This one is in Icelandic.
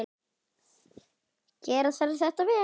Gera þarf þetta vel.